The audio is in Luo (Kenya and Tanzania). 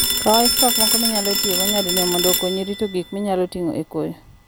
Kaw ice pack moko minyalo tiyogo nyadinwoya mondo okonyi rito gik minyalo tigo e koyo.